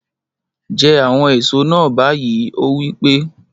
Jẹ àwọn èso náà báyìí! ó wí pé